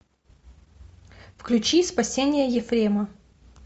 включи спасение ефрема